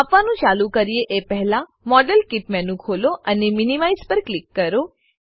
માપવાનું ચાલુ કરીએ એ પહેલા મોડેલકીટ મેનુ ખોલો અને મિનિમાઇઝ પર ક્લિક કરો